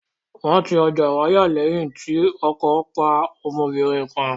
Wọ́n ti ọjà Ìwàyà lẹ́yìn tí ọkọ̀ pa ọmọbìnrin kan.